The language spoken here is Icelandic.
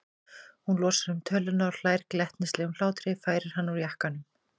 Hún losar um töluna og hlær glettnislegum hlátri, færir hann úr jakkanum.